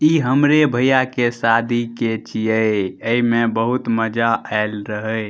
इ हमरे भैया के शादी के छीये एमे बहुत मजा आएल रहे।